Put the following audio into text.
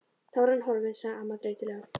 Þá er hann horfinn sagði amman þreytulega.